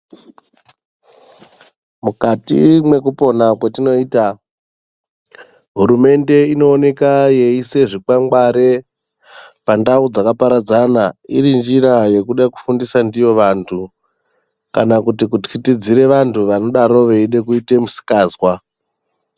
Mukati mwekupona kwetinoita hurumende inooneka yeisa zvikwangwari pandau dzakaparadzana iri njira yekude kufundisa ndiyo vantu kana kuti kuthyitidzire vantu vanodaro veide kuite musikazwa.